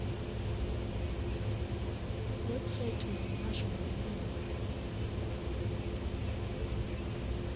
website ya muhasho wa vhulimi